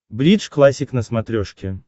бридж классик на смотрешке